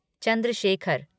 Chandra Shekhar